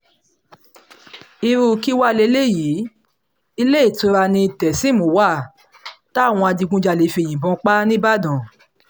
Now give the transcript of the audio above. irú kí wàá lélẹ́yìí iléetura ni tẹ́sím wà táwọn adigunjalè fi yìnbọn pa á nìbàdàn